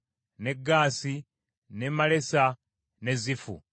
ne Gaasi, ne Malesa, ne Zifu,